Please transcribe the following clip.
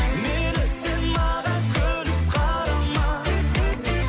мейлі сен маған күліп қарама